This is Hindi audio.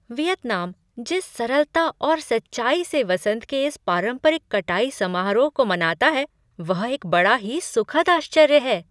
वियतनाम जिस सरलता और सच्चाई से वसंत के इस पारंपरिक कटाई समारोह को मनाता है वह एक बड़ा ही सुखद आश्चर्य है।